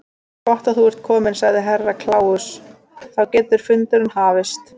Gott að þú ert kominn, sagði Herra Kláus, þá getur fundurinn hafist.